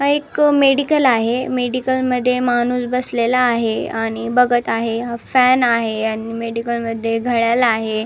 हा एक मेडिकल आहे मेडिकल मध्ये माणुस बसलेला आहे आणि बघत आहे हा फॅन आहे आणि मेडिकल मध्ये घड्याल आहे.